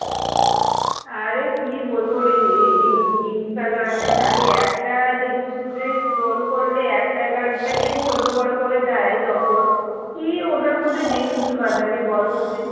আরে কি বলবো ইনস্টাগ্রাম এ খালি একটা জিনিস যে scroll করলে একটা গানটাকেই চোদ্দ বার করে দেয় যখন কি ওটার মধ্যে reels বানাবি বল তো তুই?